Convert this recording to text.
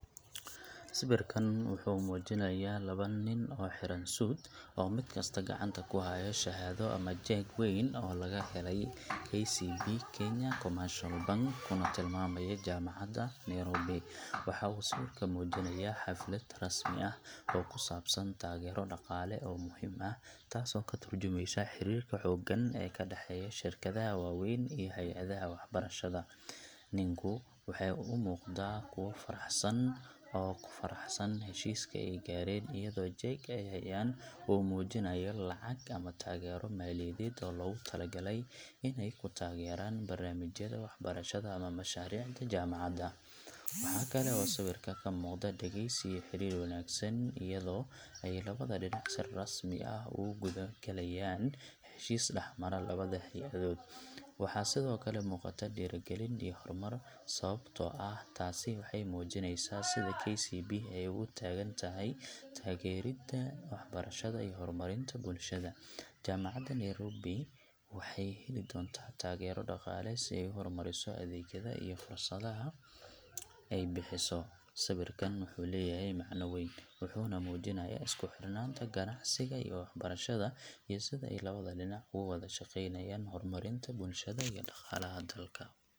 Sawirkan wuxuu muujinayaa laba nin oo xiran suit, oo mid kasta gacanta ku haya shahaado ama jeeg weyn oo laga helay KCB Kenya Commercial Bank kuna tilmaamaya Jaamacadda Nairobi. Waxa uu sawirku muujinayaa xaflad rasmi ah oo ku saabsan taageero dhaqaale oo muhiim ah, taasoo ka tarjumeysa xiriirka xooggan ee ka dhexeeya shirkadaha waaweyn iyo hay'adaha waxbarashada. Ninku waxay u muuqdaan kuwo faraxsan oo ku faraxsan heshiiska ay gaareen, iyadoo jeegga ay hayaan uu muujinayo lacag ama taageero maaliyadeed oo loogu talagalay inay ku taageeraan barnaamijyada waxbarashada ama mashaariicda jaamacadda. Waxa kale oo sawirka ka muuqda dhegeysi iyo xiriir wanaagsan, iyadoo ay labada dhinac si rasmi ah ugu gudo-galayaan heshiis dhexmara labada hay'adood. Waxaa sidoo kale muuqata dhiirrigelin iyo horumar, sababtoo ah taasi waxay muujineysaa sida KCB ay ugu taagan tahay taageerada waxbarashada iyo horumarinta bulshada. Jaamacadda Nairobi waxay heli doontaa taageero dhaqaale si ay u horumariso adeegyada iyo fursadaha ay bixiso. Sawirkan wuxuu leeyahay macno weyn, wuxuuna muujinayaa isku xirnaanta ganacsiga iyo waxbarashada, iyo sida ay labada dhinac uga wada shaqeynayaan horumarinta bulshada iyo dhaqaalaha dalka.